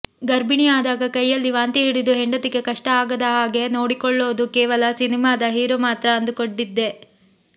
ಗರ್ಭಿಣಿ ಆದಾಗ ಕೈಯಲ್ಲಿ ವಾಂತಿ ಹಿಡಿದು ಹೆಂಡತಿಗೆ ಕಷ್ಟ ಆಗದಹಾಗೆ ನೋಡಿಕೊಳ್ಳೋದು ಕೇವಲ ಸಿನಿಮಾದ ಹೀರೋ ಮಾತ್ರ ಅಂದುಕೊಂಡಿದ್ದೆ